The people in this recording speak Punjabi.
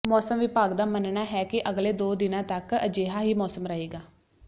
ਮੌਸਮ ਵਿਭਾਗ ਦਾ ਮੰਨਣਾ ਹੈ ਕਿ ਅਗਲੇ ਦੋ ਦਿਨਾਂ ਤਕ ਅਜਿਹਾ ਹੀ ਮੌਸਮ ਰਹੇਗਾ